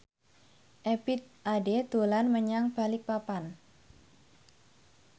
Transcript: Ebith Ade dolan menyang Balikpapan